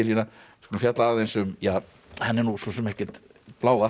skulum fjalla aðeins um ja hann er nú svo sem ekkert blávatn